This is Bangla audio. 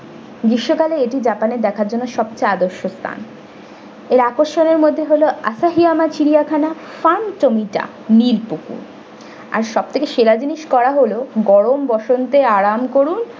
গ্রীষ্মকালে এটি japan এ দেখার জন্য সবচেয়ে আদর্শ স্থান এর আকর্ষণের মধ্যে হলো asahiyama চিড়িয়াখানা pantomime নিরপুকুর আর সব থেকে সেরা জিনিস করা হলো গরম বসন্তে আরাম করুন।